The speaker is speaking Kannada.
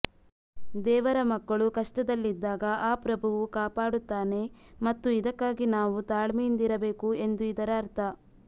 ದೇವರ ಮಕ್ಕಳು ಕಷ್ಟದಲ್ಲಿದ್ದಾಗ ಆ ಪ್ರಭುವು ಕಾಪಾಡುತ್ತಾನೆ ಮತ್ತು ಇದಕ್ಕಾಗಿ ನಾವು ತಾಳ್ಮೆಯಿಂದಿರಬೇಕು ಎಂದು ಇದರ ಅರ್ಥ